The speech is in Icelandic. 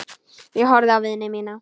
Ég horfði á vini mína.